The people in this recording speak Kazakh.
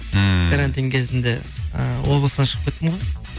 ммм карантин кезінде і облыстан шығып кеттім ғой